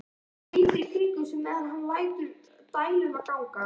Hún lítur í kringum sig meðan hann lætur dæluna ganga.